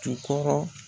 Jukɔrɔ